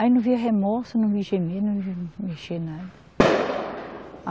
Aí não via remorso, não vi gemer, não vi mexer nada